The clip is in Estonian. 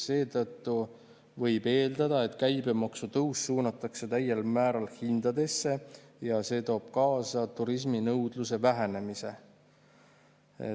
Seetõttu võib eeldada, et käibemaksutõus suunatakse täiel määral hindadesse ja see toob kaasa turisminõudluse vähenemise.